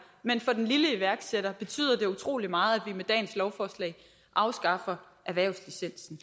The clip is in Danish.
men for den lille iværksætter betyder det utrolig meget vi med dagens lovforslag afskaffer erhvervslicensen